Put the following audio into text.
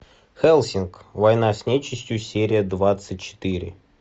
хеллсинг война с нечистью серия двадцать четыре